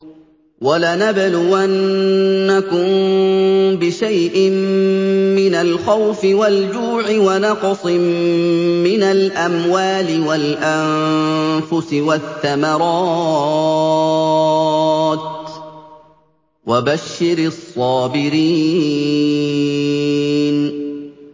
وَلَنَبْلُوَنَّكُم بِشَيْءٍ مِّنَ الْخَوْفِ وَالْجُوعِ وَنَقْصٍ مِّنَ الْأَمْوَالِ وَالْأَنفُسِ وَالثَّمَرَاتِ ۗ وَبَشِّرِ الصَّابِرِينَ